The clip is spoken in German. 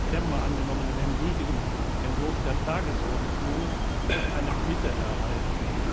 10. September angenommenen endgültigen Entwurf der Tagesordnung eine Bitte erhalten.